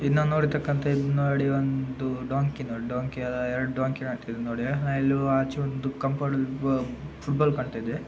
ನಾವು ನೋಡ ತಕಂತೆ ಇದು ನೋಡಿ ಒಂದು ಡಾನ್ಕಿ ನೋಡಿ ಡಾಂಕಿ ಅದ್ ಎರಡು ಡಾಂಕಿ ನೋಡಿ. ಇಲ್ಲಿ ಆಚೆ ಒಂದು ಕಾಂಪೌಂಡ್ ಫುಟ್ಬಾಲ್ ಕಾಣ್ತಾ ಇದೆ.